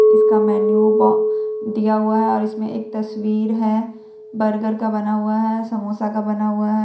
इसका मेनू ब दिया हुआ है और इसमें एक तस्वीर है बर्गर का बना हुआ है समोसा का बना हुआ है।